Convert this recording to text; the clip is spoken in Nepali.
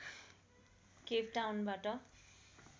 केपटाउनबाट